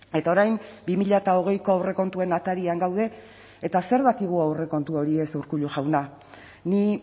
eta orain bi mila hogeiko aurrekontuen atarian gaude eta zer dakigu aurrekontu horiez urkullu jauna ni